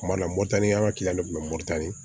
Kuma dɔ la mɔtani an ka kiliyan kun bɛ moto tan ni